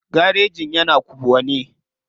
Garejin yana kubwa ne.